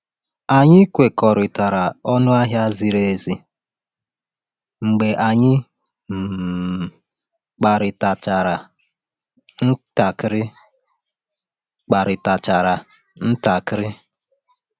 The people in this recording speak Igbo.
Anyị kwekọrịtara n’ọnụ ahịa ziri ezi mgbe anyị um kparịtachara ntakịrị. kparịtachara ntakịrị.